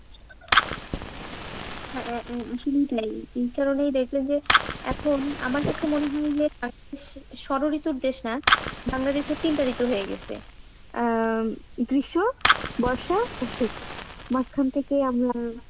সেইটাই, এই কারনেই দেখেবন যে এখন আমার কাছে মনে হয় যে ষড়ঋতুর দেশ না বাংলাদেশে তিনটা ঋতু হয়ে গেছে আহ গ্রীষ্ম, বর্ষা ও শীত, মাঝখান থেকে আমরা